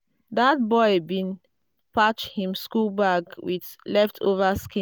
that boy bin patch him school bag with leftover skin.